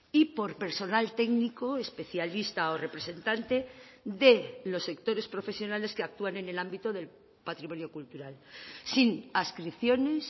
y por personal técnico especialista o representante de los sectores profesionales que actúan en el ámbito del patrimonio cultural sin adscripciones